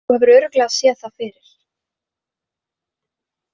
Þú hefur örugglega séð það fyrir.